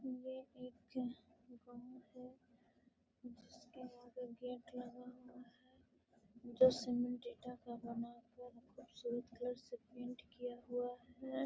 ये एक गाओ है। जिसके आगे गेट लगा हुआ है। जिसमे डेटा का स्वेत कलर से पेंट किया हुआ है।